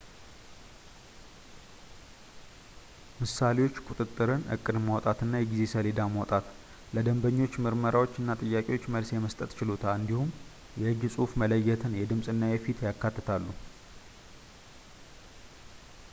ምሳሌዎች ቁጥጥርን ፣ እቅድ ማውጣት እና የጊዜ ሰሌዳ ማውጣት ፣ ለደንበኞች ምርመራዎች እና ጥያቄዎች መልስ የመስጠት ችሎታ ፣ እንዲሁም የእጅ ጽሑፍ መለየትን ፣ የድምጽ እና የፊት ያካትታሉ